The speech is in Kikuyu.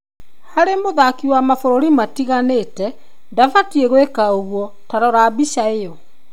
Harĩ mũthaki wa mabũrũri matiganĩte ndabatie gwika ũguo, ta rora mbica ĩyo